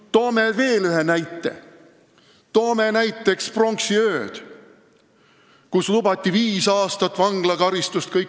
Toome veel ühe näite – pronksiöö, kui kõikidele märatsejatele lubati viis aastat vanglakaristust.